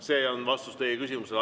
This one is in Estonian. See on vastus teie küsimusele.